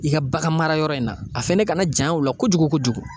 I ka bagan marayɔrɔ in na a fɛnɛ kana janya o la kojugu kojugu.